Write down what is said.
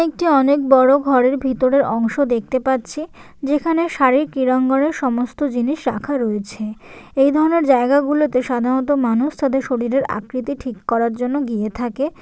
একটি অনেক বড় ঘরের ভিতরের অংশ দেখতে পাচ্ছি যেখানে শারীরিক ক্রীড়াঙ্গনের সমস্ত জিনিস রাখা রয়েছে এই ধরনের জায়গাগুলোতে সাধারণত মানুষ তাদের শরীরের আকৃতি ঠিক করার জন্য গিয়ে থাকে ।